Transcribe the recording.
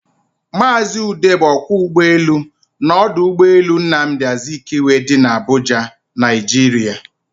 Maazi Ude bu okwo ugboelu na odu ugboelu Nnamdi Azikiwe nke di Abuja, Naijiria.